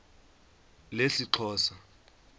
lesixhosa